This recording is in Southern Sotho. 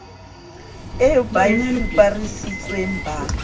eo ba e fuparisitsweng ba